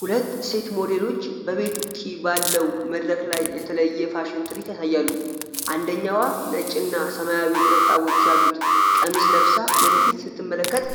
ሁለት ሴት ሞዴሎች በቤት ውጭ ባለው መድረክ ላይ የተለየ ፋሽን ትርዒት ያሳያሉ። አንደኛዋ ነጭ እና ሰማያዊ ነጠብጣቦች ያሉት ቀሚስ ለብሳ ወደ ፊት ስትመለከት